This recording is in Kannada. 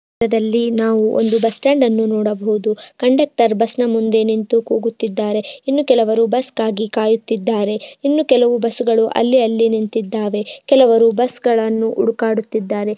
ಇ ಚಿತ್ತ್ರದಲ್ಲಿ ನಾವು ಒಂದು ಬಸ್ಟ್ಯಾಂಡನ್ನು ನೋಡಬಹುದು ಕಂಡೆಕ್ಟರ್ ಬಸ್ನ ಮುಂದೆ ನಿಂತ್ತು ಕೂಗುತ್ತಿದ್ದಾರೆ ಇನ್ನು ಕೆಲವರು ಬಸ್ಗಾಗಿ ಕಾಯುತ್ತಿದ್ದಾರೆ ಇನ್ನು ಕೆಲವು ಬಸ್ಗಳ್ಳು ಅಲ್ಲಿ ಅಲ್ಲಿ ನಿಂತಿದ್ದಾವೆ ಕೆಲವರು ಬಸ್ಗಳ್ಲನ್ನು ಹುಡುಕಾಡುತಿದ್ದಾರೆ.